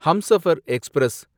Humsafar express